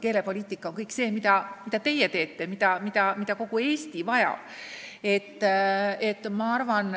Keelepoliitika on kõik see, mida ka teie teete, mida kogu Eesti vajab.